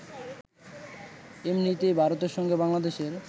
এমনিতেই ভারতের সঙ্গে বাংলাদেশের